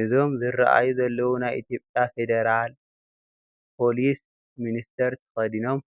እዞም ዝርኣዩ ዘለው ናይ ኢትዮጱያ ፈደራ ፖሊስ ሚንተር ተከዲኖም